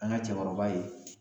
An ga cɛkɔrɔba ye